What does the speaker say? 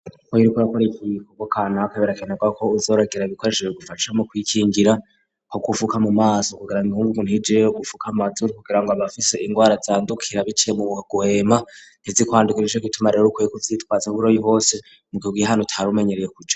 Iyo uriko akore ikigikobo kana kebera kenerwa ko uzorogera ibikoresheje gufashamo kwikingira ko kufuka mu maso kugira ngo inkungu ku ntijeyey gufuka matzuri kugira ngo abafise ingwara zandukira bice mu bguhema ntizikwandukirije ko itumarira rukye kuvyitwaza buroyi hose mu gihugu ye hano tarumenyereye kuja.